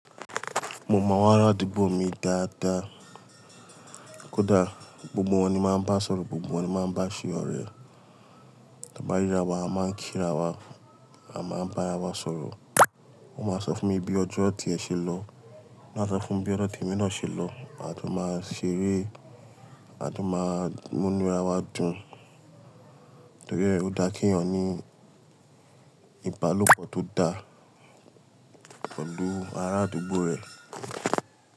Mo mọ àwọn ará àdúgbò mi dáadáa. Kódà gbogbo wọn ni máa ń bá sọ̀rọ̀, gbogbo wọn ni máa ń bá ṣe ọ̀rẹ́. Tí a bá ríra wa, a máa ń kí ra wa, a máa ń bá ara wa sọ̀rọ̀. Wọn máa sọ fún mi bí ọjọ́ ti e ṣe lọ, emi náa a sọ fún bí ọjọ́ tí emi náà ṣe lọ. A tu máa ṣeré, a tu máa mú inú ara wa dùn. Torí ẹ, ó dá kí èèyàn ní ìbálòpọ̀ tó dá pelu ará àdúgbò rẹ̀.